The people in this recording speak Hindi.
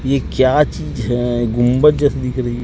ये क्या चीज है गुंबद जैसी दिख रही--